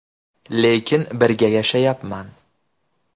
Lekin birga yashayapman.